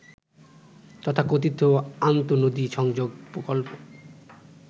তথাকথিত আন্তঃনদী সংযোগ প্রকল্প